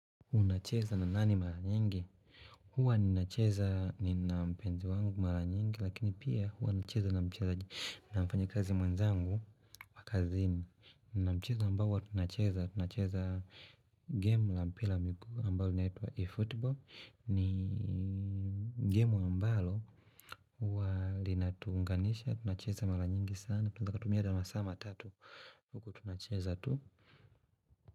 Unacheza na nani maranyingi huwa ninacheza nina mpenzi wangu maranyingi lakini pia huwa nacheza na mcheza na mfanyakazi mwenzangu wa kazini nina mchezo ambao huwa tunacheza tunacheza game la mpila ambayo linaitwa eFootball ni game na ambalo huwa linatuunganisha tunacheza maranyingi sana tunanaea tukatumia masaa matatu huku tunacheza tu.